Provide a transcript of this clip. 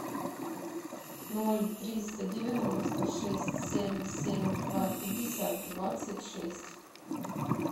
ноль триста девяносто шесть семь семь два пятьдесят двадцать шесть